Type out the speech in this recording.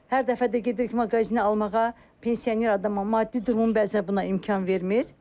Hər dəfə də gedirik maqazinə almağa, pensioner adama maddi durumu bəzən buna imkan vermir.